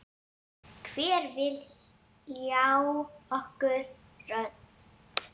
Hver vill ljá okkur rödd?